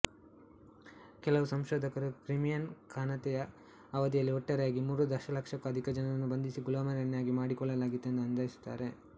ಕೆಲವು ಸಂಶೋಧಕರು ಕ್ರಿಮೀನ್ ಖಾನತೆಯ ಅವಧಿಯಲ್ಲಿ ಒಟ್ಟಾರೆಯಾಗಿ ಮೂರು ದಶಲಕ್ಷಕ್ಕೂ ಅಧಿಕ ಜನರನ್ನು ಬಂಧಿಸಿ ಗುಲಾಮರನ್ನಾಗಿ ಮಾಡಿಕೊಳ್ಳಲಾಗಿತ್ತೆಂದು ಅಂದಾಜಿಸುತ್ತಾರೆ